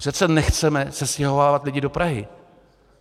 Přece nechceme sestěhovávat lidi do Prahy.